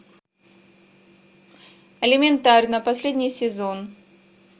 элементарно последний сезон